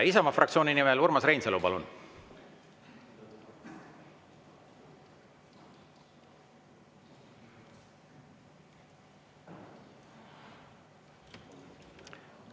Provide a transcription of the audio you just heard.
Isamaa fraktsiooni nimel Urmas Reinsalu, palun!